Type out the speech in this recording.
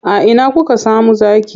A ina kuka samu zaki?